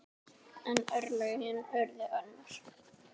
En örlögin urðu önnur.